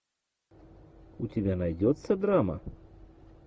у тебя найдется драма